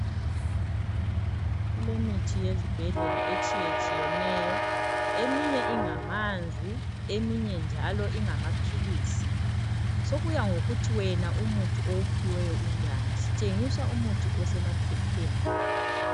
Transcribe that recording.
Kulemithi yezibhedlela etshiyetshiyeneyo eminye ingamanzi eminye njalo ingamaphilisi sokuyangokuthi wena umuthi owuphiweyo unjani, sitshengiswa umuthi osemaphepheni.